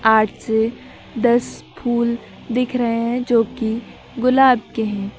आठ से दस फूल दिख रहे हैं जो कि गुलाब के हैं।